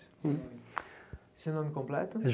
Nome Seu nome completo?